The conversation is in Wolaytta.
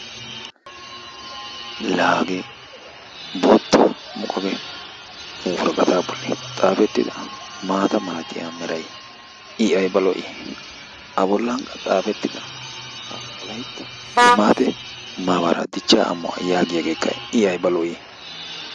La hagee bootta muqaqe woraqataa bolli xaafettida maata malatiya meray i ayba lo"ii. A bollankka xaafettida ha wolaytta limaate maabaraa dichchaa amuwa yaagiyageekka i ayba lo"ii.